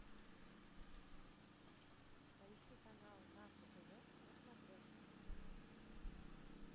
поищи канал наше тв на смотрешке